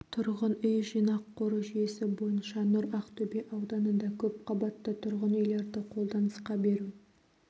тұрғын үй жинақ қоры жүйесі бойынша нұр ақтөбе ауданында көпқабатты тұрғын үйлерді қолданысқа беру